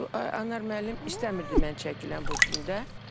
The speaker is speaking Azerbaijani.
Anar müəllim istəmirdi mən çəkiləm bu filmdə.